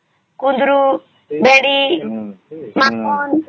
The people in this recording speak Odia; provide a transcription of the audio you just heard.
କୁଣ୍ଡରୁ ଭେଣ୍ଡି କଙ୍କଣ